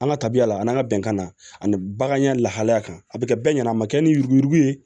An ka tabiya la ani ka bɛnkan na ani bagan ɲa lahalaya kan a bɛ kɛ bɛɛ ɲɛna a ma kɛ ni yuruguyurugu ye